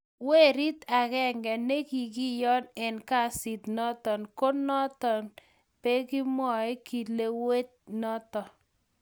werit agenge ne kikiyon eng kasit noto ko noto be kimwai kilewet noto